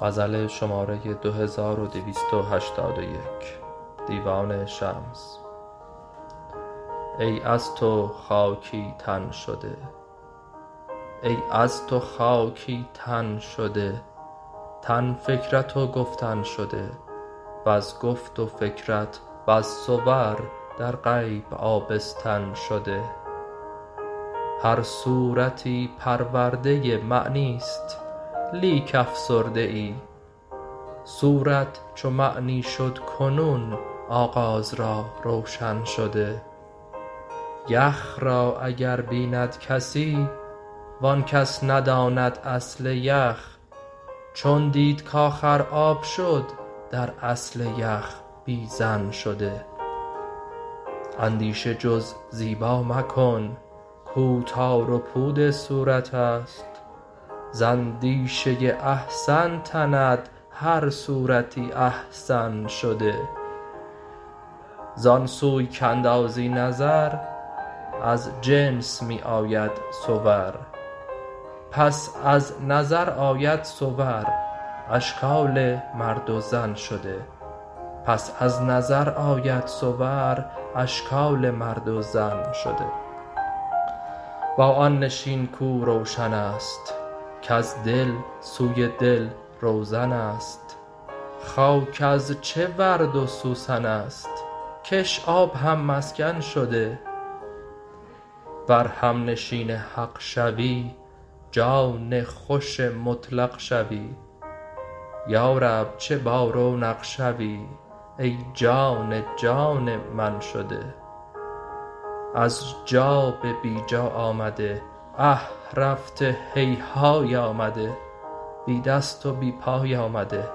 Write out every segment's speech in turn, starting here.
ای از تو خاکی تن شده تن فکرت و گفتن شده وز گفت و فکرت بس صور در غیب آبستن شده هر صورتی پرورده ای معنی است لیک افسرده ای صورت چو معنی شد کنون آغاز را روشن شده یخ را اگر بیند کسی و آن کس نداند اصل یخ چون دید کآخر آب شد در اصل یخ بی ظن شده اندیشه جز زیبا مکن کو تار و پود صورت است ز اندیشه ای احسن تند هر صورتی احسن شده زان سوی کاندازی نظر آن جنس می آید صور پس از نظر آید صور اشکال مرد و زن شده با آن نشین کو روشن است کز دل سوی دل روزن است خاک از چه ورد و سوسن است کش آب هم مسکن شده ور همنشین حق شوی جان خوش مطلق شوی یا رب چه بارونق شوی ای جان جان من شده از جا به بی جا آمده اه رفته هیهای آمده بی دست و بی پای آمده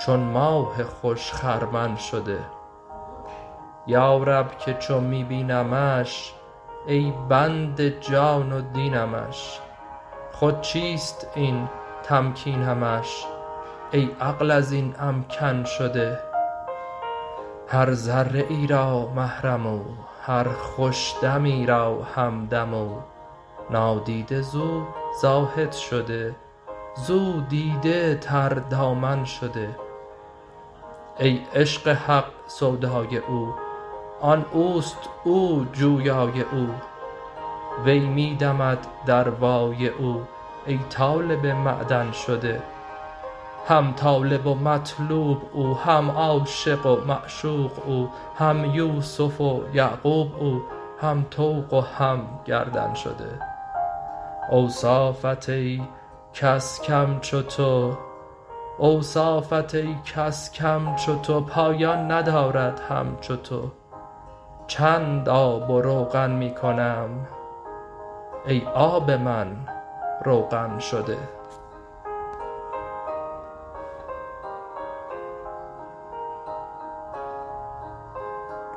چون ماه خوش خرمن شده یا رب که چون می بینمش ای بنده جان و دینمش خود چیست این تمکینمش ای عقل از این امکن شده هر ذره ای را محرم او هر خوش دمی را همدم او نادیده زو زاهد شده زو دیده تردامن شده ای عشق حق سودای او آن او است او جویای او وی می دمد در وای او ای طالب معدن شده هم طالب و مطلوب او هم عاشق و معشوق او هم یوسف و یعقوب او هم طوق و هم گردن شده اوصافت ای کس کم چو تو پایان ندارد همچو تو چند آب و روغن می کنم ای آب من روغن شده